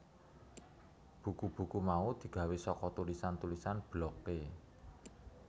Buku buku mau digawé saka tulisan tulisan blogé